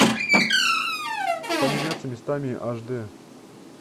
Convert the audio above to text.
поменяться местами аш дэ